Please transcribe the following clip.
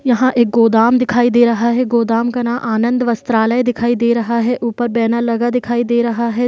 यहाँ एक गोदाम दिखाई दे रहा है गोदाम का नाम आनंद वस्त्रालय दिखाई दे रहा है ऊपर बैनर लगा दिखाई दे रहा है।